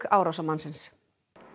árásarmannsins